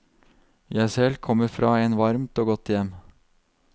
Jeg selv kommer fra en varmt og godt hjem.